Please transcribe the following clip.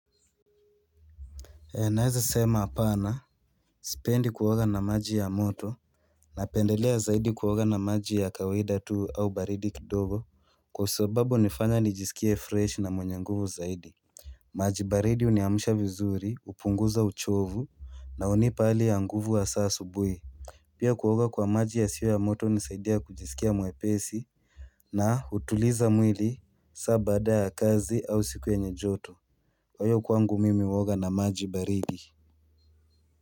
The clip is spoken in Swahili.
Naeza sema hapana Sipendi kuoga na maji ya moto Napendelea zaidi kuoga na maji ya kawaida tu au baridi kidogo Kwa sababu hunifanya nijisikie fresh na mwenye nguvu zaidi maji baridi huniamsha vizuri hupunguza uchovu na hunipa hali ya nguvu hasa asubuhi Pia kuoga kwa maji yasiyo ya moto hunisaidia kujisikia mwepesi na hutuliza mwili saa baada ya kazi au siku yenye joto Kwa hiyo kwangu mimi huoga na maji baridi.